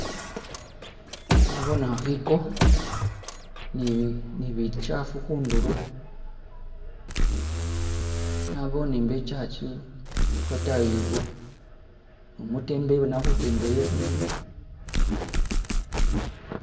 Naboone akheko ni nibichafu kundulo naboone mbwo i'church lwotayi ilwo ne umutembeyi bona ali khutembeya ibindu.